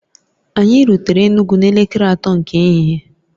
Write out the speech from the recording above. Anyị rutere Enugwu n'elekere atọ nke ehihie